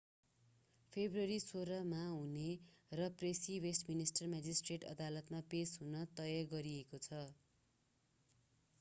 February 16 मा हुहने र प्रेसी वेस्टमिन्स्टर म्याजिस्ट्रेट अदालतमा पेश हुने तय गरिएको छ